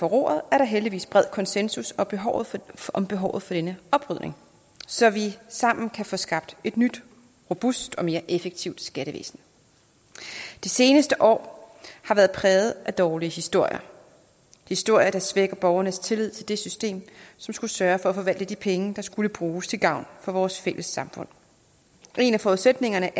roret er der heldigvis bred konsensus om behovet om behovet for denne oprydning så vi sammen kan få skabt et nyt robust og mere effektivt skattevæsen de seneste år har været præget af dårlige historier historier der svækker borgernes tillid til det system som skulle sørge for at forvalte de penge der skal bruges til gavn for vores fælles samfund en af forudsætningerne